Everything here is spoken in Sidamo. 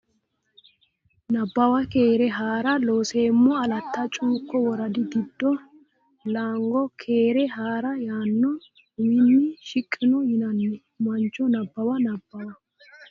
Nabbawa Keere haa ra Looseemmo Alatta Cuukkote Woradi giddo Laango Keere Haa ra yaanno uminni shiqqino yinanni mancho Nabbawa Nabbawa.